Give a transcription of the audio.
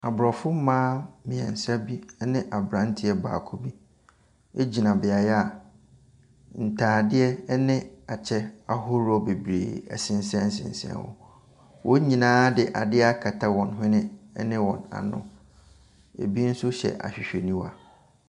Abrɔfo mmaa mmiɛnsa ne abranteɛ baako bi gyina beaeɛ a ntaadeɛ ne kyɛ ahorow bebree sesɛnsesɛn hɔ. Wɔn nyinaa de adeɛ akata wɔn hwene ne wɔn ano.